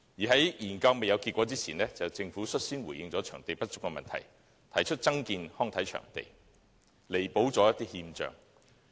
在研究未有結果前，政府率先回應場地不足的問題，提出增建康體場地，以彌補不足。